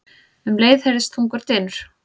Um leið heyrðist þungur dynur.